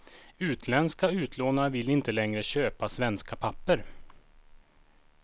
Utländska utlånare vill inte längre köpa svenska papper.